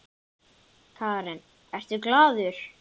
Karen: Ertu glaður?